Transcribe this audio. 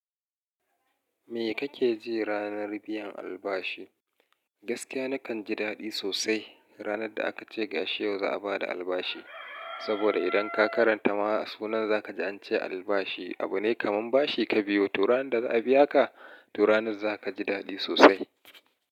Me kake ji ranar biyan albashi? Gaskiya nakan ji daɗi sosai. Ranar da aka ce ga shi yau za a ba da albashi. Saboda idan ka karanta ma sunan za ka ji an ce albashi abu ne kamar bashi ka biyo. To ranar da za a biya ka, to ranar za ka ji daɗi sosai.